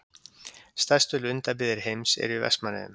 Stærstu lundabyggðir heims eru í Vestmannaeyjum.